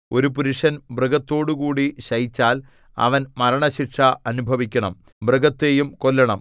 ഒരു പുരുഷൻ മൃഗത്തോടുകൂടി ശയിച്ചാൽ അവൻ മരണശിക്ഷ അനുഭവിക്കണം മൃഗത്തെയും കൊല്ലണം